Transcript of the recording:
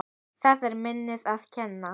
Það er minninu að kenna.